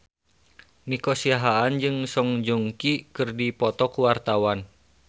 Nico Siahaan jeung Song Joong Ki keur dipoto ku wartawan